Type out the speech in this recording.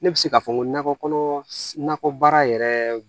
Ne bɛ se k'a fɔ n ko nakɔ kɔnɔ nakɔbaara yɛrɛ